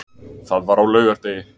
Það var á laugardegi.